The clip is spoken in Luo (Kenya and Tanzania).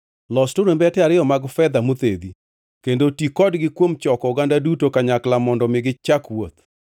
Los turumbete ariyo mag fedha mothedhi, kendo ti kodgi kuom choko oganda duto kanyakla mondo mi gichak wuoth.